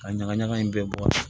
Ka ɲagaɲaga in bɛɛ bɔ a la